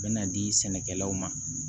Bɛn'a di sɛnɛkɛlaw ma